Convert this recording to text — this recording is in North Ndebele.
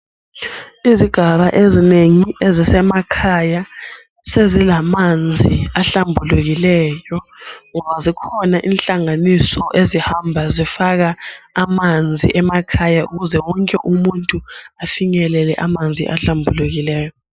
Izigaba ezinengi ezisemakhaya sezilamanzi ahlambulukileyo, ngoba zikhona inhlanganiso ezihamba zifaka amanzi emakhaya ukuze wonke umuntu afinyelele amanzi ahlambulukileyo.